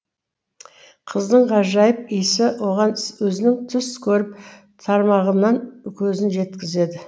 қыздың ғажайып иісі оған өзінің түс көріп тармағынан көзін жеткізеді